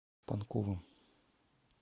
панковым